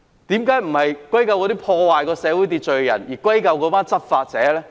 為何不是歸咎破壞社會秩序的人，而是歸咎執法者？